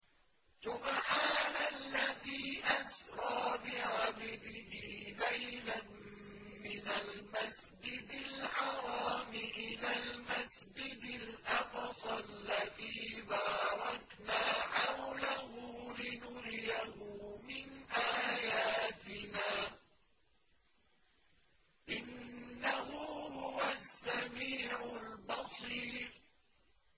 سُبْحَانَ الَّذِي أَسْرَىٰ بِعَبْدِهِ لَيْلًا مِّنَ الْمَسْجِدِ الْحَرَامِ إِلَى الْمَسْجِدِ الْأَقْصَى الَّذِي بَارَكْنَا حَوْلَهُ لِنُرِيَهُ مِنْ آيَاتِنَا ۚ إِنَّهُ هُوَ السَّمِيعُ الْبَصِيرُ